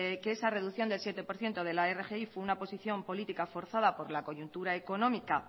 que es reducción del siete por ciento de la rgi fue una posición política forzada por la coyuntura económica